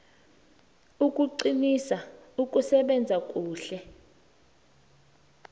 ukuqinisa ukusebenza kuhle